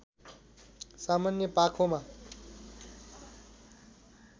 सामान्य पाखोमा